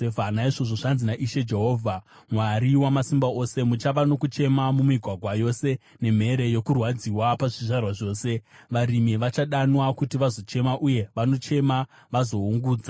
Naizvozvo zvanzi naIshe, Jehovha Mwari Wamasimba Ose, “Muchava nokuchema mumigwagwa yose nemhere yokurwadziwa pazvivara zvose. Varimi vachadanwa kuti vazochema uye vanochema vazoungudza.